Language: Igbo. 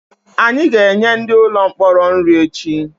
Anyị ga-enye ndị ụlọ mkpọrọ nri echi